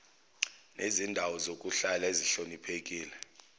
nezindawo zokuhlala ezihloniphekile